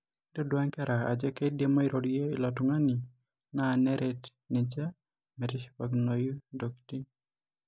intodua nkera ajo kidim airorie ilo tungani na neret ninche metishipakinoyu ntokitin.